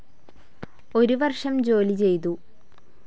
ഒരു വർഷം ജോലി ചെയ്തു.